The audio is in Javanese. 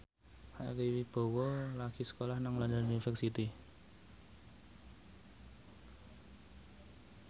Ari Wibowo lagi sekolah nang London University